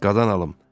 Qadan alım!